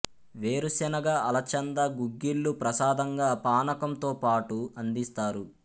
వేరు సెనగ అలచంద గుగ్గిళ్ళు ప్రసాదంగా పానకం తోపాటు అందిస్తారు